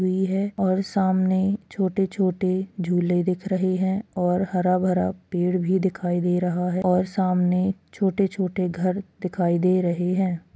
हुई है और सामने छोटे-छोटे झूले दिख रहे है और हरा-भरा पेड़ भी दिखाई दे रहा है और सामने छोटे-छोटे घर दिखाई दे रहे है।